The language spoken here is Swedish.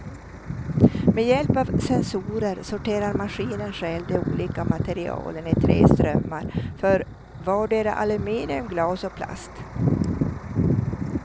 Med hjälp av sensorer sorterar maskinen själv de olika materialen i tre strömmar för vardera aluminium, glas och plast.